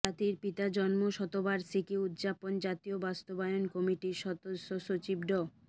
জাতির পিতার জন্মশতবার্ষিকী উদযাপন জাতীয় বাস্তবায়ন কমিটির সদস্য সচিব ড